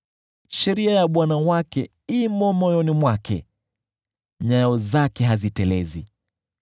Sheria ya Mungu wake imo moyoni mwake; nyayo zake hazitelezi.